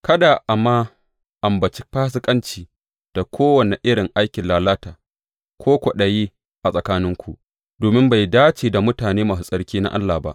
Kada a ma ambaci fasikanci, da kowane irin aikin lalata, ko kwaɗayi a tsakaninku, domin bai dace da mutane masu tsarki na Allah ba.